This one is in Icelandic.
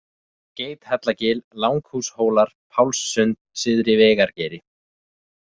Geithellagil, Langhúshólar, Pálssund, Syðri-Vegargeiri